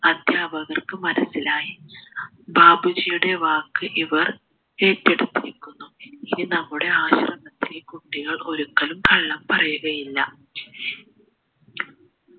അധ്യാപകർക്ക് മനസിലായി ബാപ്പുജിയുടെ വാക്ക് ഇവർ ഏറ്റെടുത്തിരിക്കുന്നു ഇനി നമ്മുടെ ആശ്രമത്തിലെ കുട്ടികൾ ഒരിക്കലും കള്ളം പറയുകയില്ല